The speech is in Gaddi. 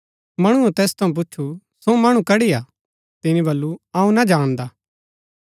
मणुऐ तैस थऊँ पुछु सो मणु कड़ी हा तिनी बल्लू अऊँ ना जाणदा